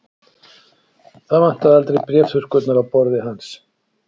Það vantaði aldrei bréfþurrkurnar á borði hans.